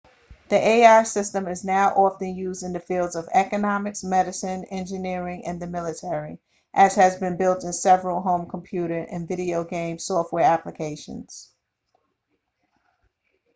the ai ​​system is now often used in the fields of economics medicine engineering and the military as has been built in several home computer and video game software applications